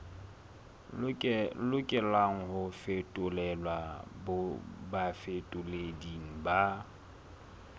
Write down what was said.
lokelang ho fetolelwa bafetoleding ba